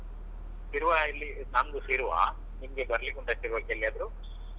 ಶಿರ್ವ ಇಲ್ಲಿ ನಮ್ದು ಶಿರ್ವ ನಿಮ್ಗೆ ಬರಲಿಕ್ಕುಂಟಾ ಶಿರ್ವಕ್ಕೆ ಎಲ್ಲಿಯಾದ್ರೂ?